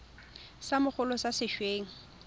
sa mogolo sa se weng